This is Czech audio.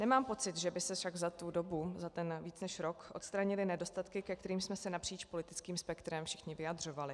Nemám pocit, že by se však za tu dobu, za ten víc než rok, odstranily nedostatky, ke kterým jsme se napříč politickým spektrem všichni vyjadřovali.